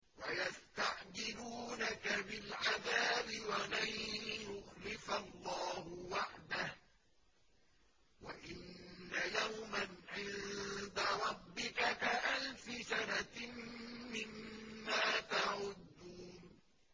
وَيَسْتَعْجِلُونَكَ بِالْعَذَابِ وَلَن يُخْلِفَ اللَّهُ وَعْدَهُ ۚ وَإِنَّ يَوْمًا عِندَ رَبِّكَ كَأَلْفِ سَنَةٍ مِّمَّا تَعُدُّونَ